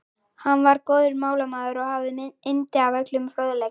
Hann var góður málamaður og hafði yndi af öllum fróðleik.